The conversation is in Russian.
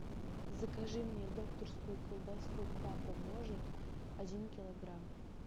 закажи мне докторскую колбасу папа может один килограмм